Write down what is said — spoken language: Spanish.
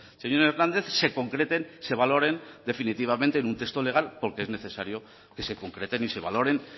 señor hernández se concreten se valoren definitivamente en un texto legal porque es necesario que se concreten y se valoren